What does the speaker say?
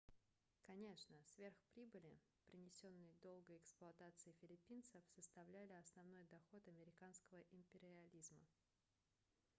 конечно сверхприбыли принесенные долгой эксплуатацией филиппинцев составляли основной доход американского империализма